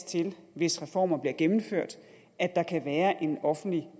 til hvis reformer bliver gennemført at der kan være en offentlig